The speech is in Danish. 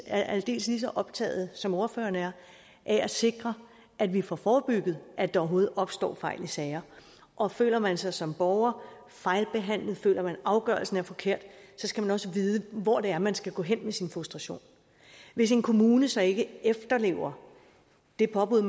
er aldeles lige så optaget som ordfører er af at sikre at vi får forebygget at der overhovedet opstår fejl i sager og føler man sig som borger fejlbehandlet og føler man at afgørelsen er forkert skal man også vide hvor det er man skal gå hen med sin frustration hvis en kommune så ikke efterlever det påbud